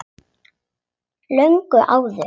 Löngu áður.